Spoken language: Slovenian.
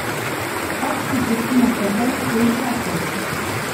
Tak ti prespi na trdem, poje karkoli.